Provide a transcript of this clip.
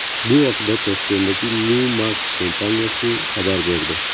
Bu haqda Toshkentdagi Newmax kompaniyasi xabar berdi.